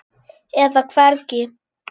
eða hvergi.